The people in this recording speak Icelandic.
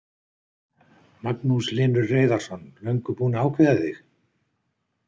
Magnús Hlynur Hreiðarsson: Löngu búinn að ákveða þig?